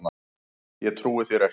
Ég trúi þér ekki.